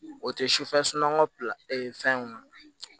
O tɛ sufɛ sunɔgɔ fɛnw na